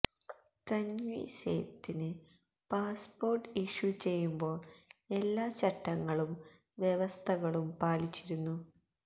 തന്വി സേത്തിന് passport issue ചെയ്യുമ്പോള് എല്ലാ ചട്ടങ്ങളും വ്യവസ്ഥകളും പാലിച്ചിരുന്നു